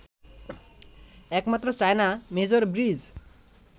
একমাত্র China major bridge